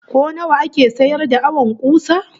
Ko nawa ake sayar da awon kusa?